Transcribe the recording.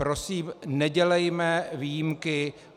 Prosím, nedělejme výjimky.